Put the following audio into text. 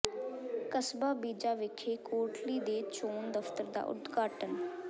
ਕਸਬਾ ਬੀਜਾ ਵਿਖੇ ਕੋਟਲੀ ਦੇ ਚੋਣ ਦਫ਼ਤਰ ਦਾ ਉਦਘਾਟਨ